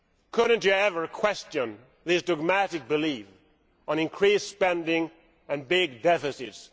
Couldn't you ever question this dogmatic belief in increased spending and big deficits?